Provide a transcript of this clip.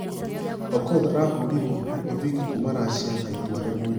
Okoth arahũrirwo nĩ ovik kuuma russia na itua rĩmwe .